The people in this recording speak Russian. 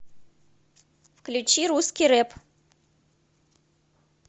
включи русский рэп